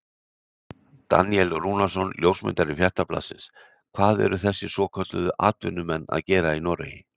Daníel Rúnarsson ljósmyndari Fréttablaðsins: Hvað eru þessir svokölluðu atvinnumenn að gera í Noregi?